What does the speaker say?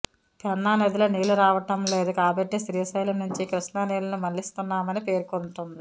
పెన్నా నదిలో నీళ్లు రావడం లేదు కాబట్టే శ్రీశైలం నుంచి కృష్ణా నీళ్లను మళ్లిస్తున్నామని పేర్కొంటోంది